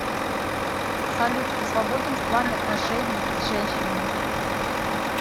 салют ты свободен в плане отношений с женщинами